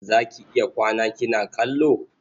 Za ki iya kwana kina kallo?